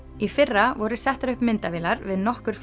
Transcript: í fyrra voru settar upp myndavélar við nokkur